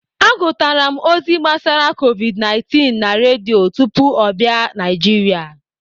Agụtara m ozi gbasara Covid19 na Redio tupu ọ bị Naijiria.